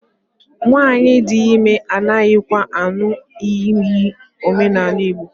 Nwaanyị di ime anaghịkwa aṅụ iyi n'omenala Igbo